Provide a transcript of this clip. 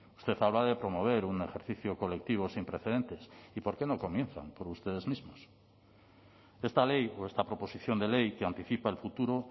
usted habla de promover un ejercicio colectivo sin precedentes y por qué no comienzan por ustedes mismos esta ley o esta proposición de ley que anticipa el futuro